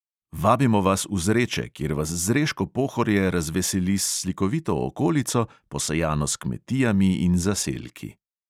Vabimo vas v zreče, kjer vas zreško pohorje razveseli s slikovito okolico, posejano s kmetijami in zaselki.